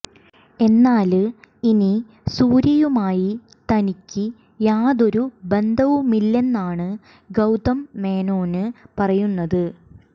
എന്നാല് ഇനി സൂര്യയുമായി തനിക്ക് യാതൊരു ബന്ധവുമില്ലെന്നാണ് ഗൌതം മേനോന് പറയുന്നത്